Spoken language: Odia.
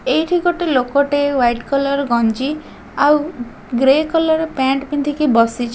ଏଇଠି ଗୋଟେ ଲୋକ ଟେ ହ୍ବାଇଟ କଲର ଗଞ୍ଜୀ ଆଉ ଗ୍ରେ କଲର ର ପେଣ୍ଟ୍ ପିନ୍ଧିକି ବସିଚି।